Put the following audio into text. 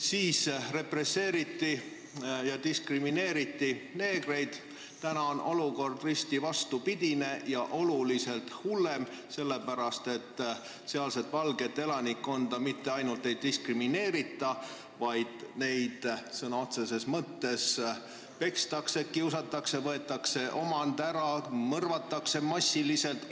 Siis represseeriti ja diskrimineeriti neegreid, nüüd on olukord risti vastupidine ja oluliselt hullem, sest sealset valget elanikkonda mitte ainult ei diskrimineerita, vaid neid sõna otseses mõttes pekstakse, kiusatakse, neilt võetakse ära omand ja neid mõrvatakse massiliselt.